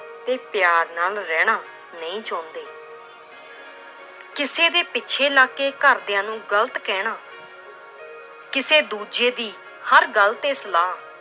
ਤੇ ਪਿਆਰ ਨਾਲ ਰਹਿਣਾ ਨਹੀਂ ਚਾਹੁੰਦੇ l ਕਿਸੇ ਦੇ ਪਿੱਛੇ ਲੱਗ ਕੇ ਘਰਦਿਆਂ ਨੂੰ ਗ਼ਲਤ ਕਹਿਣਾ ਕਿਸੇ ਦੂਜੇ ਦੀ ਹਰ ਗੱਲ ਤੇ ਸਲਾਹ